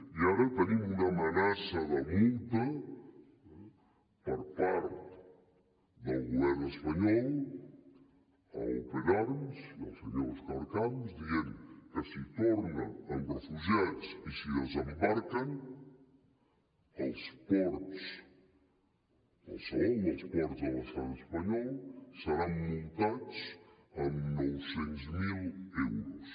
i ara tenim una amenaça de multa per part del govern espanyol a open arms i al senyor òscar camps que diu que si torna amb refugiats i si desembarquen als ports qualsevol dels ports de l’estat espanyol seran multats amb nou cents miler euros